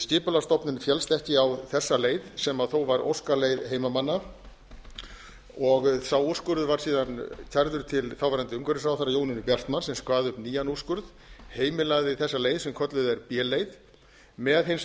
skipulagsstofnun féllst ekki á þessa leið sem þó var óskaleið heimamanna og sá úrskurður var síðan kærður til þáverandi umhverfisráðherra jónínu bjartmarz sem kvað upp nýjan úrskurð heimilaði þessa leið sem kölluð er b leið með hins